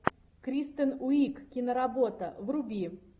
кристен уиг киноработа вруби